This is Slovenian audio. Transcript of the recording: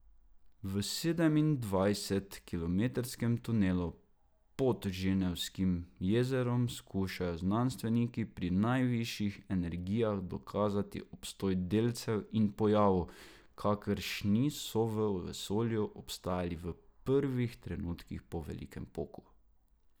V sedemindvajset kilometrskem tunelu pod Ženevskim jezerom skušajo znanstveniki pri najvišjih energijah dokazati obstoj delcev in pojavov, kakršni so v vesolju obstajali v prvih trenutkih po velikem poku.